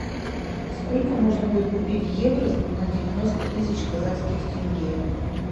сколько можно будет купить евро на девяносто тысяч казахских тенге